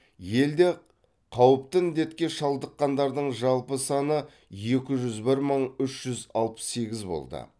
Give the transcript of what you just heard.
елде қауіпті індетке шалдыққандардың жалпы саны екі жүз бір мың үш жүз алпыс сегіз болды